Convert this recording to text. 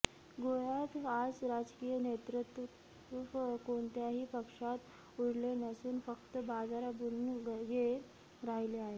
गोव्यात आज राजकीय नेतृत्व कोणत्याही पक्षात उरले नसून फक्त बाजारबुणगे राहिले आहेत